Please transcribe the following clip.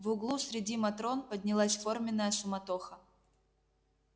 в углу среди матрон поднялась форменная суматоха